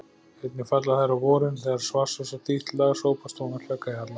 Einnig falla þær á vorin þegar vatnsósa þítt lag sópast ofan af klaka í halla.